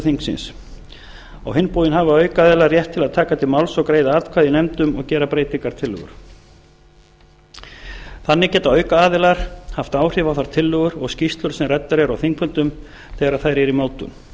þingsins á hinn bóginn hafa aukaaðilar rétt til að taka til máls og greiða atkvæði í nefndum og gera breytingartillögur þannig geta aukaaðilar haft áhrif á þær tillögur og skýrslur sem ræddar eru á þingfundum þegar þær eru í